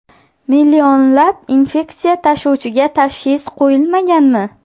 Millionlab infeksiya tashuvchiga tashxis qo‘yilmaganmi?